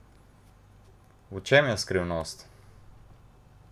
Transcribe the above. V čem je skrivnost?